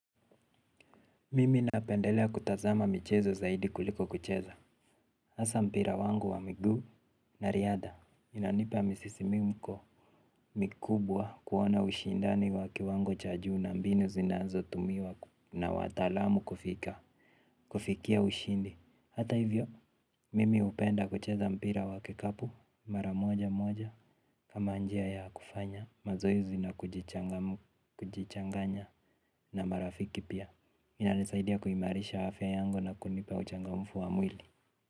Mimi napendelea kutazama michezo zaidi kuliko kucheza hasa mpira wangu wa miguu na riadha inanipa misisimko mikubwa kuona ushindani wa kiwango cha juu na mbinu zinazotumiwa na wataalamu kufika kufikia ushindi. Hata hivyo, mimi hupenda kucheza mpira wa kikapu. Mara moja moja kama njia ya kufanya mazoezi na kujichanganya na marafiki pia inanisaidia kuimarisha afya yangu na kunipa uchangamfu wa mwili.